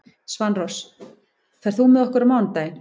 Svanrós, ferð þú með okkur á mánudaginn?